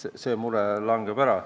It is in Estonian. See mure langeb ära.